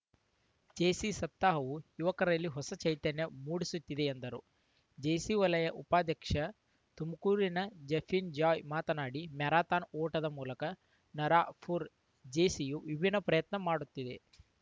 JC ಸಪ್ತಾಹವು ಯುವಕರಲ್ಲಿ ಹೊಸ ಚೈತನ್ಯ ಮೂಡಿಸುತ್ತಿದೆ ಎಂದರು ಜೇಸಿ ವಲಯ ಉಪಾಧ್ಯಕ್ಷ ತುಮಕೂರಿನ ಜಫೀನ್‌ ಜಾಯ್‌ ಮಾತನಾಡಿ ಮ್ಯಾರಥಾನ್‌ ಓಟದ ಮೂಲಕ ನರಾಪುರ ಜೇಸಿಯು ವಿಭಿನ್ನ ಪ್ರಯತ್ನ ಮಾಡುತ್ತಿದೆ